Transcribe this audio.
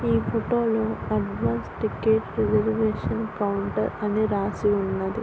ఈ ఫోటో లో advance ticket reservation counter అని రాసి ఉన్నది.